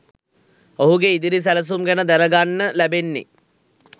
ඔහුගේ ඉදිරි සැලසුම් ගැන දැනගන්න ලැබෙන්නේ